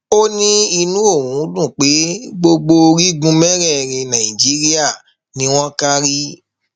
ó ní inú òun dùn pé gbogbo orígun mẹrẹẹrin nàìjíríà ni wọn kárí